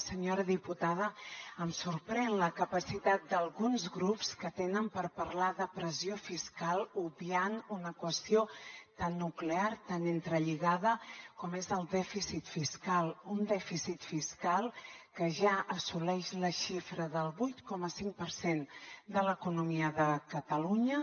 senyora diputada em sorprèn la capacitat d’alguns grups que tenen per parlar de pressió fiscal obviant una qüestió tan nuclear tan entrelligada com és el dèficit fiscal un dèficit fiscal que ja assoleix la xifra del vuit coma cinc per cent de l’economia de catalunya